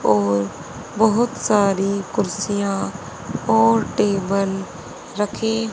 और बहोत सारी कुर्सियां और टेबल रखे--